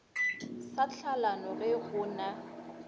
sa tlhalano ge go na